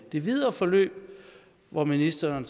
det videre forløb og ministeren